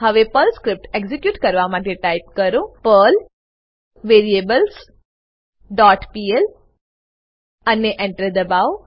હવે Perl script execute કરવા માટે ટાઈપ કરો પર્લ વેરિએબલ્સ ડોટ પીએલ અને Enter દબાઓ